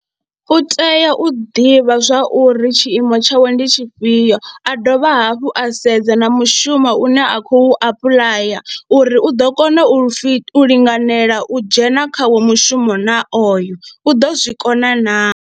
U tea u ḓivha zwa uri tshiimo tshawe ndi tshifhio, a dovha hafhu a sedza na mushumo une a khou apuḽaya uri u ḓo kona u pfhi, u linganela u dzhena khawo mushumo na oyo, u ḓo zwi kona naa.